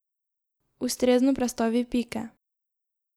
Ustrezno prestavi pike.